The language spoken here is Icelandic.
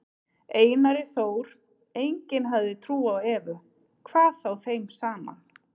Einari Þór, enginn hafði trú á Evu, hvað þá þeim saman.